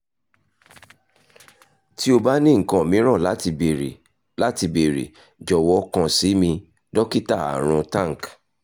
ti o ba ni nkan miiran lati beere lati beere jọwọ kan si mi dokita arun tank